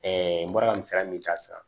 n bɔra ka misaliya min ta sisan